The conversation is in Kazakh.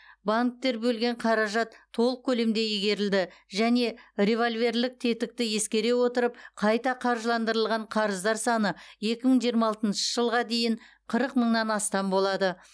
банктер бөлген қаражат толық көлемде игерілді және револьверлік тетікті ескере отырып қайта қаржыландырылған қарыздар саны екі мың жиырма алтыншы жылға дейін қырық мыңнан астам болады